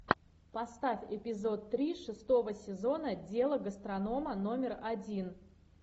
поставь эпизод три шестого сезона дело гастронома номер один